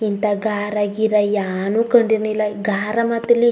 ಇಂತ ಗಾರ್ ಗೀರ್ ಯಾನು ಕಂಡಿಲ್ಲಾ ಗಾರ್ ಮಾತಲ್ಲಿ--